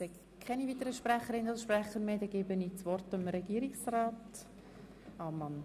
Ich sehe keine weiteren Sprecherinnen und Sprecher mehr und gebe das Wort Regierungsrat Ammann.